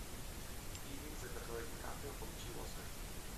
фильм за который ди каприо получил оскар